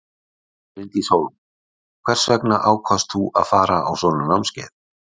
Bryndís Hólm: Hvers vegna ákvaðst þú að fara á svona námskeið?